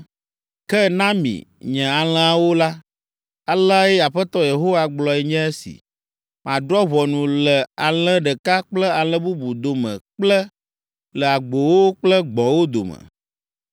“Ke na mi, nye alẽawo la, aleae Aƒetɔ Yehowa gblɔe nye esi. ‘Madrɔ̃ ʋɔnu le alẽ ɖeka kple alẽ bubu dome kple le agbowo kple gbɔ̃wo dome.